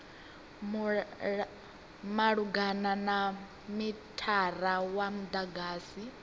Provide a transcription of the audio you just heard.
malugana na mithara wa mudagasi